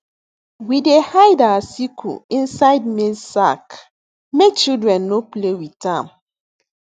we dey hide our sickle inside maize sack make children no play with am